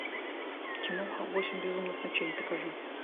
киноха восемь безумных ночей покажи